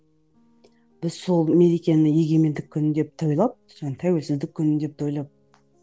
біз сол мерекені егемендік күні деп тойлап тәуелсіздік күні деп тойлап